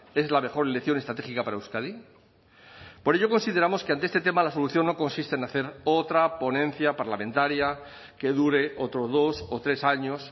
es la mejor elección estratégica para euskadi por ello consideramos que ante este tema la solución no consiste en hacer otra ponencia parlamentaria que dure otros dos o tres años